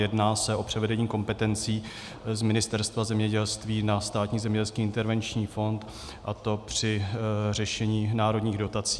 Jedná se o převedení kompetencí z Ministerstva zemědělství na Státní zemědělský intervenční fond, a to při řešení národních dotací.